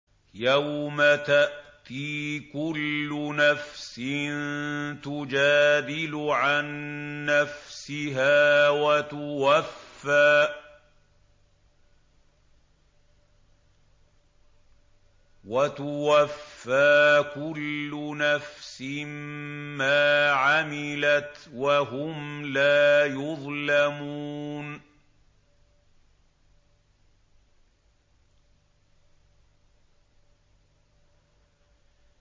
۞ يَوْمَ تَأْتِي كُلُّ نَفْسٍ تُجَادِلُ عَن نَّفْسِهَا وَتُوَفَّىٰ كُلُّ نَفْسٍ مَّا عَمِلَتْ وَهُمْ لَا يُظْلَمُونَ